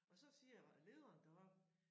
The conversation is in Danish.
Og så siger lederen deroppe